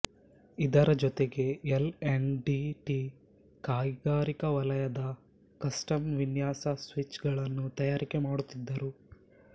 ಇದರ ಜೊತೆಗೆ L and T ಕೈಗಾರಿಕಾ ವಲಯದಲ್ಲಿ ಕಸ್ಟಮ್ ವಿನ್ಯಾಸ ಸ್ವಿಚ್ ಗಳನ್ನು ತಯಾರಿಕೆ ಮಾಡುತ್ತಿದ್ದರು